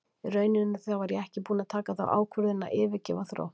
Í rauninni þá var ég ekki búinn að taka þá ákvörðun að yfirgefa Þrótt.